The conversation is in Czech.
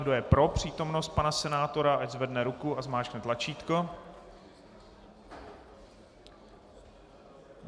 Kdo je pro přítomnost pana senátora, ať zvedne ruku a zmáčkne tlačítko.